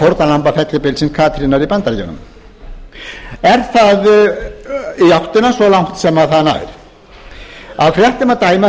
fórnarlamba fellibylsins katrínar í bandaríkjunum er það í áttina svo langt sem það nær af fréttum að dæma